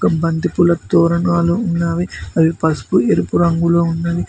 ఒక బంతిపూలు తొరణాలు ఉన్నావి అవి పసుపు ఎరుపు రంగులో ఉన్నవి.